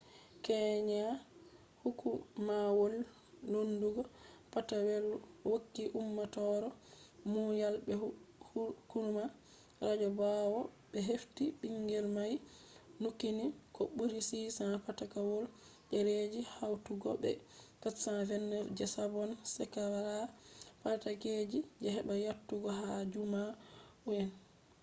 kenya hukumawol lendugo patakewol hokki ummatore muyal be hukuma radio bawo be hefti bingel mai nukkini ko buri 600 patakewol dereji hautugo be 429 je sabon shekara patakeji, je hebai yottugo ha jaumu’en